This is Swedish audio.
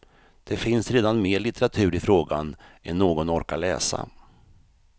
Det finns redan mer litteratur i frågan än någon orkar läsa.